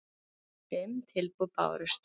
Fimm tilboð bárust